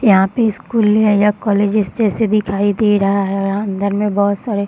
यहाँ पे स्कुल या कॉलेज जैसा दिखाई दे रहा हैं अंदर में बहुत सारे --